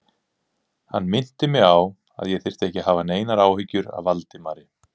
Hann minnti mig á, að ég þyrfti ekki að hafa neinar áhyggjur af Valdimari